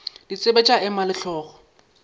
ditsebe tša ema le hlogo